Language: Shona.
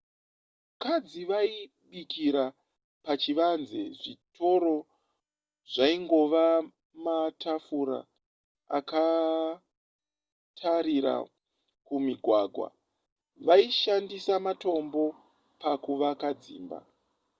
vakadzi vaibikira pachivanze zvitoro zvaingova matafura akatarira kumugwagwa vaishandisa matombo pakuvaka dzimba